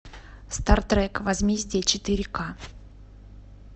стартрек возмездие четыре ка